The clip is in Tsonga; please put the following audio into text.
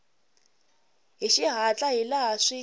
hi xihatla hi laha swi